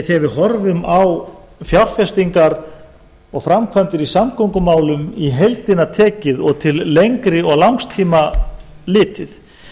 þegar við horfum á fjárfestingar og framkvæmdir í samgöngumálum í heildina tekið og til lengri og langs tíma litið